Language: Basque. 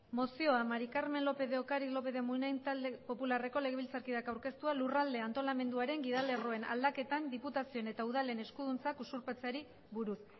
mozioa maría del carmen lópez de ocariz lópez de munain euskal talde popularreko legebiltzarkideak aurkeztua lurralde antolamenduaren gidalerroen lag aldaketan diputazioen eta udalen eskuduntzak usurpatzeari buruz